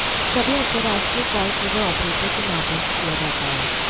सभी अंतरराष्ट्रीय कॉल केवल ऑपरेटर के माध्यम से किया जाता है